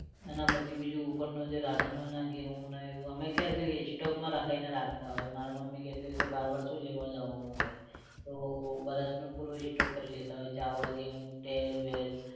એના પછી બીજું જે ઉપરનું રાશન હોય ને ઘઉં ને એવું અમે stock માં લખાઈ ને રાખતા હોય મારા મમ્મી. ઘેર તો એવું કે બાર બાર શું લેવા જવાનું હોય. તો વરસનું પૂરું stock કરી લેતા હોય છે ચાવલ, ઘેઉ, તેલ વેલ